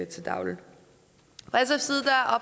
til daglig